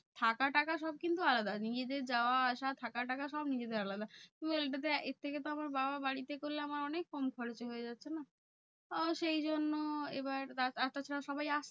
থাকা টাকা সব কিন্তু আলাদা। নিজেদের যাওয়া আসা থাকা টাকা সব নিজেদের আলাদা। তুমি বলোনা এটাতে এর থেকে তো আমার বাবা বাড়িতে করলে আমার অনেক কম খরচে হয়ে যাচ্ছে না? আহ সেই জন্য এবার আর তাছা সবাই আ